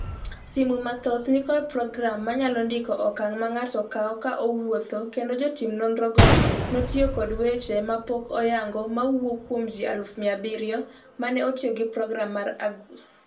Simu mathoth ni kod program manyalo ndiko okang' ma ng'ato kawo ka owuotho ​​kendo jotim nonro go notiyo kod weche ma pok oyango mawuok kuom ji 700,000 mane otiyo gi program mar Argus.